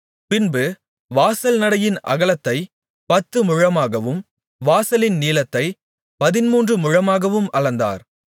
பின்பு வாசல் நடையின் அகலத்தைப் பத்துமுழமாகவும் வாசலின் நீளத்தைப் பதின்மூன்று முழமாகவும் அளந்தார்